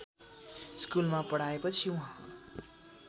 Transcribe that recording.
स्कूलमा पढाएपछि उहाँ